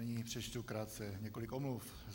Nyní přečtu krátce několik omluv.